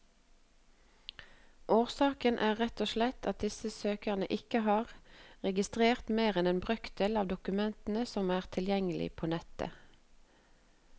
Årsaken er rett og slett at disse søkerne ikke har registrert mer enn en brøkdel av dokumentene som er tilgjengelige på nettet.